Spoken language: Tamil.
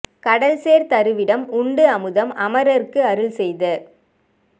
கடல் சேர் தரு விடம் உண்டு அமுதம் அமரர்க்கு அருள் செய்த